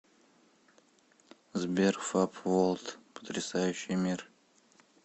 сбер фаб волд потрясающий мир